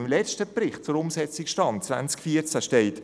Im letzten Bericht zum Stand der Umsetzung 2014 steht: